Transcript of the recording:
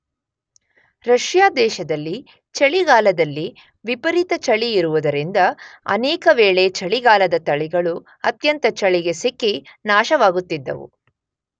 Russia ದೇಶದಲ್ಲಿ ಚಳಿಗಾಲದಲ್ಲಿ ವಿಪರೀತ ಚಳಿ ಇರುವುದರಿಂದ ಅನೇಕ ವೇಳೆ ಚಳಿಗಾಲದ ತಳಿಗಳು ಅತ್ಯಂತ ಚಳಿಗೆ ಸಿಕ್ಕಿ ನಾಶವಾಗುತ್ತಿದ್ದವು.